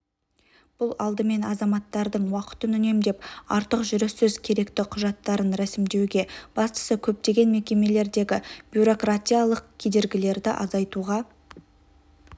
бұл алдымен азаматтардың уақытын үнемдеп артық жүріссіз керекті құжаттарын рәсімдеуге бастысы көптеген мекемелердегі бюрократиялық кедергілерді азайтуға